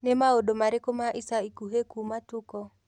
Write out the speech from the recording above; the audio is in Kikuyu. ni maundu marĩkũ ma ĩca ĩkũhĩ kũma tuko